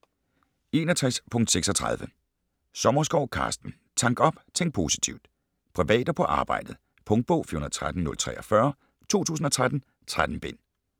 61.36 Sommerskov, Carsten: Tank op - tænk positivt Privat og på arbejdet. Punktbog 413043 2013. 3 bind.